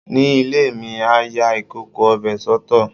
Ní ilé mi, a ya ìkòkò ọbẹ̀ soto.